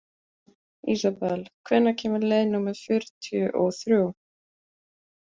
Isabel, hvenær kemur leið númer fjörutíu og þrjú?